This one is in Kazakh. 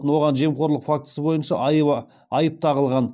оған жемқорлық фактісі бойынша айып тағылған